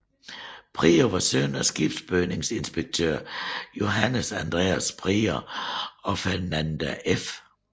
Prior var søn af skibsbygningsinspektør Johannes Andreas Prior og Fernanda f